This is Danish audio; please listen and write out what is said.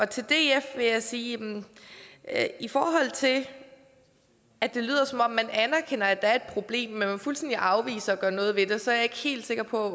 til df vil jeg sige at i forhold til at det lyder som om man anerkender at der er et problem men at man fuldstændig afviser at gøre noget ved det så er jeg ikke helt sikker på